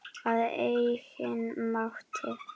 Að eigin mati.